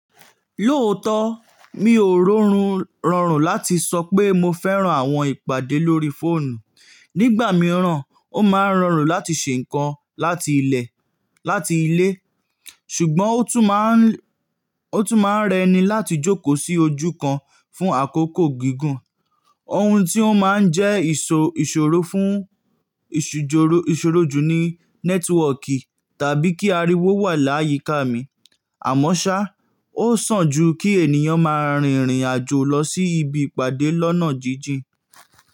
Lóòótọ́, mi ò rọrùn rọrùn láti sọ pé mo fẹ́ran àwọn ìpàdé lórí fóònù. Nígbà mìíràn, ó máa ń rọrùn láti ṣe ǹkan láti ilẹ̀, láti ilé, ṣùgbọ́n ó tún máa ń, ó tún máa ń rẹ ni láti jókòó sí ojú kan fún àkókò gígùn. Ohun tí ó máa ń jẹ́ ìṣòró fún ìṣòrójù ni nẹ́tíwọọ̀kì tàbí kí ariwo wà láyíká mi. Àmọ́ ṣá, ó sàn jù kí ènìyàn máa rìn ìrìn àjò lọ sí ibi ìpàdé lọ́nà jíjìn.